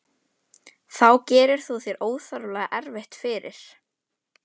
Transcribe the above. Þá gerir þú þér óþarflega erfitt fyrir.